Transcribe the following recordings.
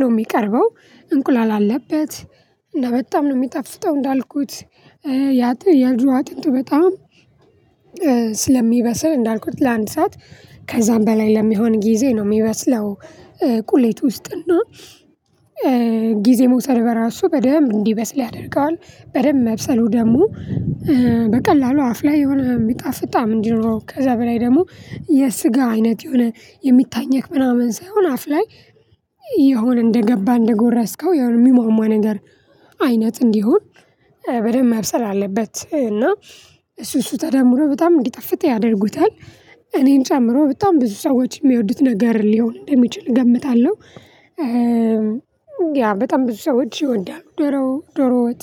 ነው የሚቀርበው። እንቁላል አለበት እና በጣም ነው የሚጠፍጠው እንዳልኩት ያ ያጥ የዶሮ አጥንቱ በጣም ስለሚበስል እንዳልኩት ለአንድ ሰዓት ከዛም በላይ ለሚሆን ጊዜ ነው የሚበስለው። ቁሌት ውስጥ እና ጊዜ መውሰድ በራሱ በደንብ እንዲበስል ያደርገዋል። በደንብ መብሰሉ ደግሞ በቀላሉ አፍ ላይ የሆነ የሚጣፍጥ ጣዕም እንዲኖረው ከዛ በላይ ደግሞ የስጋ አይነት የሆነ የሚታኘክ ምናምን ሳይሆን አፍ ላይ የሆነ እንደገባ እንደጎረስከው የሚሟሟ ነገር አይነት እንዲሆን በደንብ መብሰል አለበት እና እሱ እሱ ተደምሮ በጣም እንዲጣፍጥ ያደርጉታል። እኔን ጨምሮ በጣም ብዙ ሰዎች የሚወዱት ነገር ሊሆን እንደሚችል እገምታለሁ። ያ በጣም ብዙ ሰዎች ይወዳሉ ዶሮ ዶሮ ወጥ።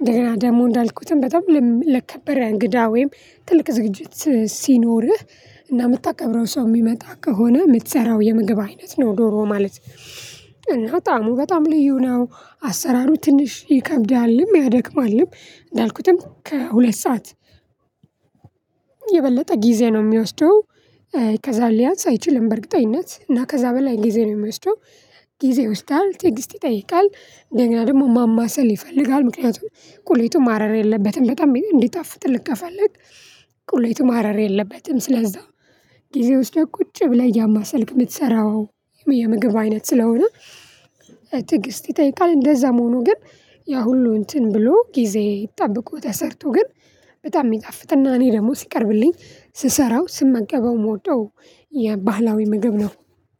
እንደገና ደግሞ እንዳልኩትም በጣም ለከበረ እንግዳ ወይም ትልቅ ዝግጅት ሲኖርህ እና የምታከብረው ሰው የሚመጣ ከሆነ የምትሰራው የምግብ አይነት ነው ዶሮ ማለት እና ጣዕሙ በጣም ልዩ ነው። አሰራሩ ትንሽ ይከብዳልም ያደክማልም እንዳልኩትም ከሁለት ሰዓት የበለጠ ጊዜ ነው የሚወስደው። ከዛ ሊያንስ አይችልም በእርግጠኝነት እና ከዛ በላይ ጊዜ ነው የሚወስደው። ጊዜ ወስዳል ትግስት ይጠይቃል። ደግሞ ማማሰል ይፈልጋል ምክንያቱም ቁሌቱ ማረር የለበትም በጣም እንዲጣፍጥልህ ከፈልክ። ቁሌቱ ማረር የለበትም ስለዛ ጊዜ ወስደህ ቁጭ ብለህ እያማሰልክ የምትሰራው። የምግብ አይነት ስለሆነ ትግስት ይጠይቃል። እንደዛም ሆኖ ግን ያ ሁሉ እንትን ብሎ ጊዜ ጠብቆ ተሰርቶ ግን በጣም የሚጣፍጥና እኔ ደግሞ ሲቀርብልኝ ስሰራው ስመገበው የምወደው። የባህላዊ ምግብ ነው